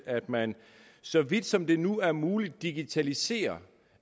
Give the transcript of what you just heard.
at man så vidt som det nu er muligt digitaliserer